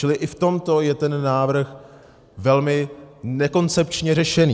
Čili i v tomto je ten návrh velmi nekoncepčně řešený.